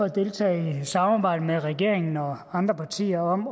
at deltage i samarbejdet med regeringen og andre partier om